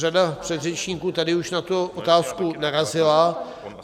Řada předřečníků tady už na tu otázku narazila.